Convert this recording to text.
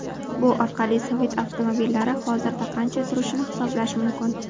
Bu orqali sovet avtomobillari hozirda qancha turishini hisoblash mumkin.